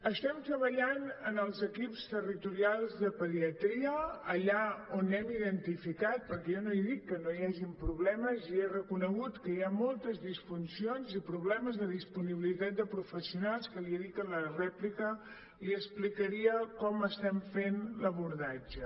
estem treballant amb els equips territorials de pediatria allà on hem identificat perquè jo no he dit que no hi hagin problemes jo he reconegut que hi ha moltes disfuncions i problemes de disponibilitat de professionals que li he dit que a la rèplica li explicaria com estem fent l’abordatge